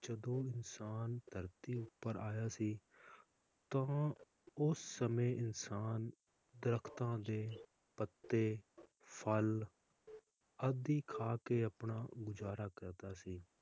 ਜਦੋਂ ਇਨਸਾਨ ਧਰਤੀ ਉਪਰ ਆਇਆ ਸੀ ਤਾ ਉਹ ਉਸ ਸਮੇ ਇਨਸਾਨ ਦਰੱਖਤਾਂ ਦੇ ਪੱਤੇ ਫਲ ਆਦਿ ਖਾ ਕੇ ਆਪਣਾ ਗੁਜ਼ਾਰਾ ਕਰਦਾ ਸੀ